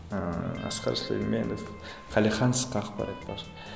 ыыы асқар сүлейменов қалихан ысқақ бар айтпақшы